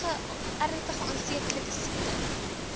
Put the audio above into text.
ernstige aansteeklike siektes